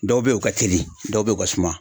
Dɔw bɛ yen u ka teli, dɔw bɛ u ka suma .